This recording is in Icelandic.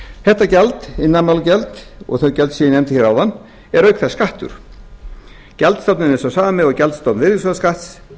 þetta gjald iðnaðarmálagjald og þau gjöld sem ég nefndi hérna áðan eru auk þessu skattur gjaldstofninn er sá sami og gjaldstofn virðisaukaskatts